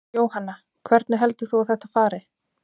Jóhanna: Hvernig heldur þú að þetta fari?